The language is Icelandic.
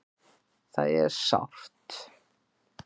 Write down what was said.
Það er sárt.